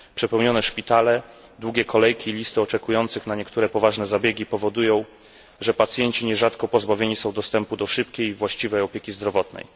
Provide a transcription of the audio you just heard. Przepełnione szpitale, długie kolejki, listy oczekujących na niektóre poważne zabiegi powodują, że pacjenci nierzadko pozbawieni są dostępu do szybkiej, właściwej opieki zdrowotnej.